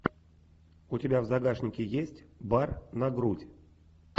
у тебя в загашнике есть бар на грудь